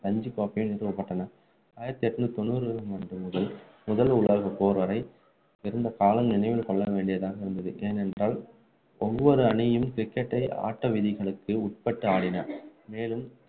ரஞ்சி கோப்பை நிறுவப்பட்டன ஆயிரத்து எண்ணூற்று தொண்ணூறு முதல் முதல் உலகப்போர் வரை இருந்த காலம் நினைவு கொள்ள வேண்டியதாக உள்ளது ஏனென்றால் ஒவ்வொரு அணியும் cricket டை ஆட்ட விதிகளுக்கு உட்பட்டு ஆடின மேலும்